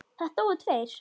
Það dóu tveir.